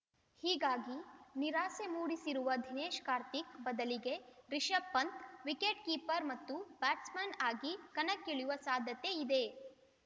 ಹೀಗಾಗಿ ನಿರಾಸೆ ಮೂಡಿಸಿರುವ ದೇಶ್‌ ಕಾರ್ತಿಕ್‌ ಬದಲಿಗೆ Rishabh Pant wicket keeper batsman ಆಗಿ ಕಣಕ್ಕಿಳಿಯುವ ಸಾಧ್ಯತೆ ಇದೆ